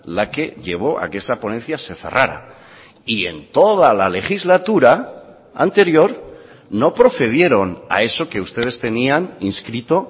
la que llevó a que esa ponencia se cerrara y en toda la legislatura anterior no procedieron a eso que ustedes tenían inscrito